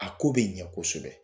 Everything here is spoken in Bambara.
A ko bɛ ɲɛ kosɛbɛ